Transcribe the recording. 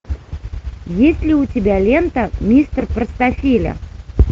есть ли у тебя лента мистер простофиля